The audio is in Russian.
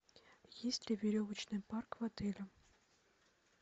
есть ли веревочный парк в отеле